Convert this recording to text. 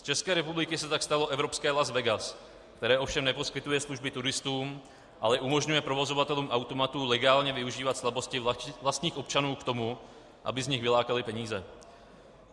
Z České republiky se tak stalo evropské Las Vegas, které ovšem neposkytuje služby turistům, ale umožňuje provozovatelům automatů legálně využívat slabosti vlastních občanů k tomu, aby z nich vylákali peníze.